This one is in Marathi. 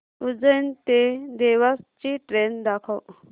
उज्जैन ते देवास ची ट्रेन दाखव